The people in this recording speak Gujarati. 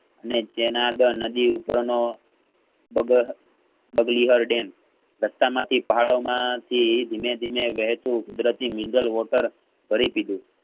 ને જેનદ નદી ઉપરનો ડગોહ ડગલીવાર ડેમ રસ્તા માંથી પહાડોમાં થી ધીમે~ધીમે વહેતુ કુદરતી Mineral water ભરી દીધું